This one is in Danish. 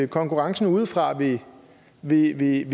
konkurrencen udefra vil blive blive